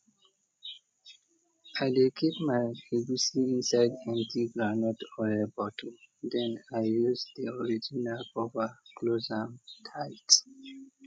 i dey keep my egusi inside empty groundnut oil bottle then i use the original cover close am tight